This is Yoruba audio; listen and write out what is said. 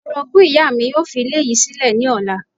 Orogún ìyá mi yóò fi ilé yìí sílẹ̀ ní ọ̀la